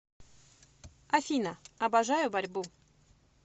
афина обожаю борьбу